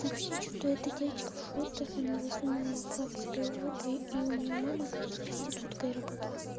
та вообще что-то эта девочка в шортах она заснула флаг себе в жопу и у неё мама кажется проституткой работала